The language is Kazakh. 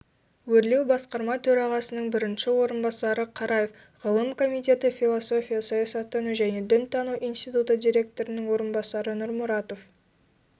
өрлеубасқарма төрағасының бірінші орынбасары қараев ғылым комитеті философия саясаттану және дінтану институты директорының орынбасары нұрмұратов